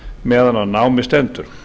meðan á námi stendur